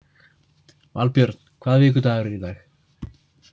Valbjörn, hvaða vikudagur er í dag?